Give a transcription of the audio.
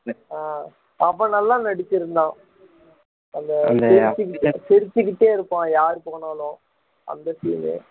ஆஹ் அவன் நல்லா நடிச்சிருந்தா அந்த சிரிச்சு~ சிரிச்சுக்கிட்டே இருப்பான் யாரு போனாலும் அந்த சீன்